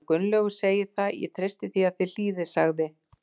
Hann Gunnlaugur segir það og ég treysti því að þið hlýðið sagði